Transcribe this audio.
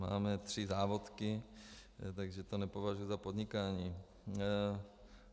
Máme tři závodky, takže to nepovažuji za podnikání.